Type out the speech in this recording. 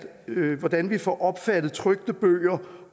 hvordan vi får opfattet trykte bøger